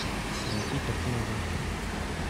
найти картину гарфилд